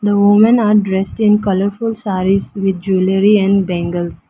The women are dressed in colorful sarees with jewellery and bangles.